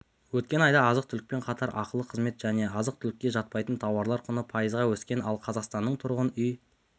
өткен айда азық-түлікпен қатар ақылы қызмет және азық-түлікке жатпайтын тауарлар құны пайызға өскен алқазақстанның тұрғын үй